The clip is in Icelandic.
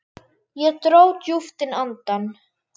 Ég dró djúpt inn andann.